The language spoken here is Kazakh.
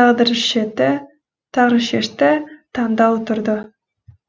тағдыр шешті таңдау тұрды